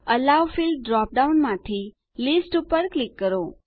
એલો field drop ડાઉનમાંથી list પર click કરો